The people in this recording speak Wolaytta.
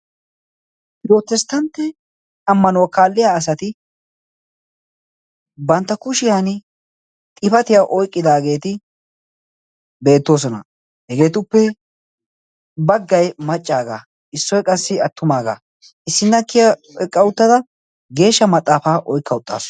Pirotesttantte ammanuwaa kaaliyaa asati bantta kushiyani xifatiyaa oyqqidagetti beettoosona. Hegeettuppe baggaay maccaaga. Issoykka qa attumaga issinaa kiyaa eqqa uttada geeshsha maxaafaa oyqqa uttasu.